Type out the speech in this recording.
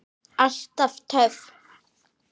Alltaf töff.